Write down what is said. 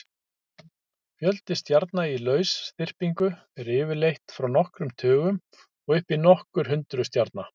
Fjöldi stjarna í lausþyrpingu er yfirleitt frá nokkrum tugum og upp í nokkur hundruð stjarna.